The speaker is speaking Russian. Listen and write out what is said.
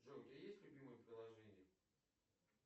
джой у тебя есть любимое приложение